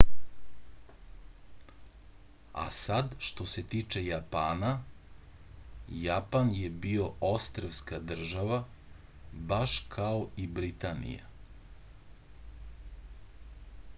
a sad što se tiče japana japan je bio ostrvska država baš kao i britanija